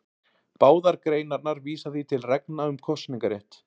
Báðar greinarnar vísa því til reglna um kosningarétt.